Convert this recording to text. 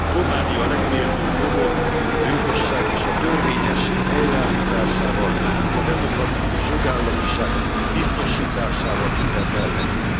Románia legméltóbb módon a jogosság és a törvényesség helyreállításával, a demokratikus jogállamiság biztosításával ünnepelhetne.